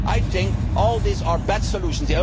I think all these are bad solutions.